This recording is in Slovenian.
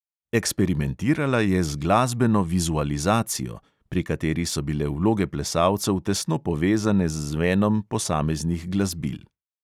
Eksperimentirala je z "glasbeno vizualizacijo", pri kateri so bile vloge plesalcev tesno povezane z zvenom posameznih glasbil.